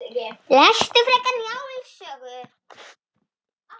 Lestu frekar Njáls sögu